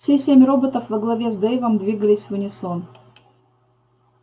все семь роботов во главе с дейвом двигались в унисон